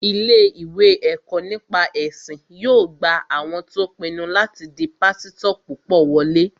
Ilé-ìwé ẹ̀kọ́ nípa ẹ̀sìn yóò gba àwọn tó pinnu láti di pásítọ̀ púpọ̀ wọlé